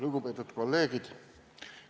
Lugupeetud kolleegid!